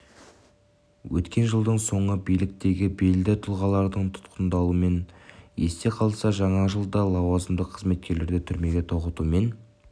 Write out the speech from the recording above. өткен жылдың соңы биліктегі белді тұлғалардың тұтқындалуымен есте қалса жаңа жыл да лауазымды қызметкерлерді түрмеге тоғытумен